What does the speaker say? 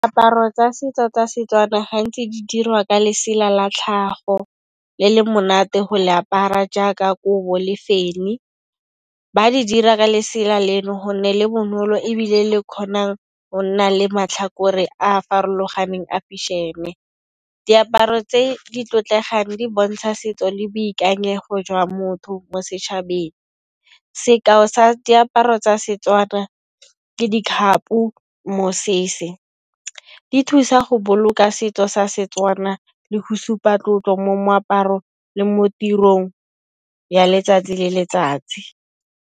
Diaparo tsa setso tsa setswana gantsi di dirwa ka lesela la tlhago le le monate go le apara jaaka kobo le fenyi, ba di dira ka lesela leno gonne le bonolo ebile le kgona go nna le matlhakore a a farologaneng a fešhene. Diaparo tse di tlotlegang di bontsha setso le boikanyego jwa motho mo setšhabeng, sekao sa diaparo tsa setswana ke ditlhako, mosese di thusa go boloka setso sa setswana le go supa tlotlo mo moaparo le mo tirong ya letsatsi le letsatsi.